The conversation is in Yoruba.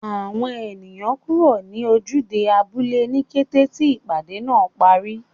Àwọn ènìyàn kúrò ní ojúde abúlé ní kété tí ìpàdé náà parí